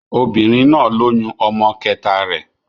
Obìnrin náà lóyún ọmọ kẹta rẹ̀.